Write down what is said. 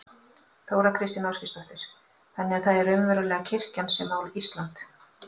Þóra Kristín Ásgeirsdóttir: Þannig að það er raunverulega kirkjan sem á Ísland?